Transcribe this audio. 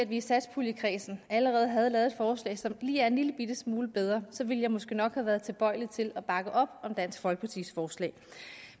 i satspuljekredsen allerede havde lavet et forslag som er en lillebitte smule bedre så ville jeg måske nok have været tilbøjelig til at bakke op om dansk folkepartis forslag